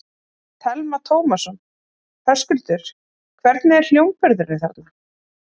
Telma Tómasson: Höskuldur, hvernig er hljómburðurinn þarna?